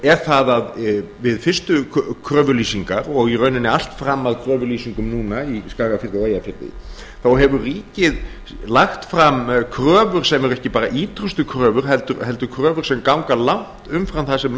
er það að við fyrstu kröfulýsingar og í rauninni allt fram að kröfulýsingum núna í skagafirði og eyjafirði þá hefur ríkið lagt fram kröfur sem eru ekki bara ýtrustu kröfur heldur kröfur sem ganga langt umfram það sem